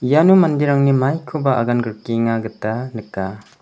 iano manderangni maikoba agangrikenga gita nika.